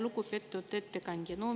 Lugupeetud ettekandja!